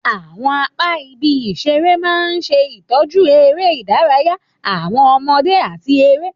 Àwọn apá ibi ìṣeré máa ń ṣe ìtọ́jú eré ìdárayá àwọn ọmọdé àti eré.